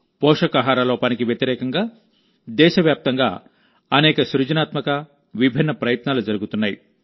పోషకాహార లోపానికి వ్యతిరేకంగా దేశవ్యాప్తంగా అనేక సృజనాత్మక విభిన్న ప్రయత్నాలు జరుగుతున్నాయి